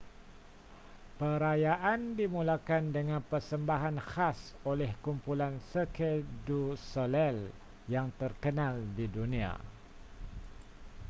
perayaan dimulakan dengan persembahan khas oleh kumpulan cirque du soleil yang terkenal di dunia